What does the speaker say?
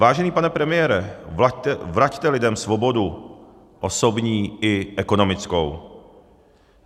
Vážený pane premiére, vraťte lidem svobodu osobní i ekonomickou.